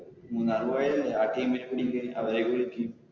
മൂന്നാറ് പോയല്ലേ ആ team നെ പിടിക്ക് അവരെയൊക്കെ വിളിക്ക്.